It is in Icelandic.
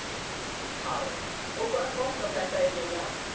Karen: Og hvað kostaði þetta eiginlega?